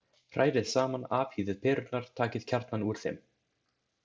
Hrærið saman Afhýðið perurnar, takið kjarnann úr þeim.